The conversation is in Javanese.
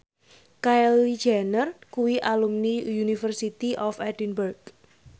Kylie Jenner kuwi alumni University of Edinburgh